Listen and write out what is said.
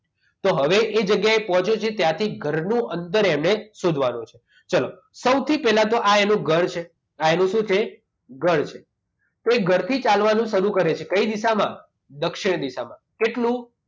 તો હવે એ જગ્યાએ પહોંચ્યો છે ત્યાંથી ઘરનું અંતર એને શોધવાનું છે ચાલો સૌથી પહેલા એનું તો આ એનું ઘર છે આ એનું શું છે ઘર છે તો એ ઘરથી ચાલવાનું શરૂ કરે છે કઈ દિશામાં દક્ષિણ દિશામાં કેટલું